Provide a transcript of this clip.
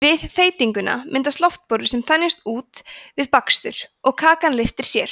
við þeytinguna myndast loftbólur sem þenjast út við bakstur og kakan lyftir sér